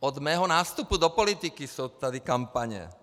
Od mého nástupu do politiky jsou tady kampaně.